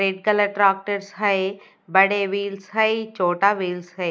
Red colour है बड़े wheels है छोटा व्हील्स है।